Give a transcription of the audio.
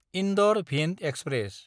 इन्दर–भिन्द express